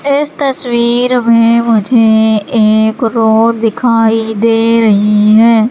इस तस्वीर में मुझे एक रोड दिखाई दे रही हैं।